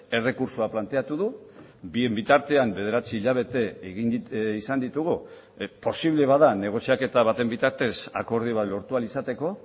errekurtsoa planteatu du bien bitartean bederatzi hilabete izan ditugu posible bada negoziaketa baten bitartez akordio bat lortu ahal izateko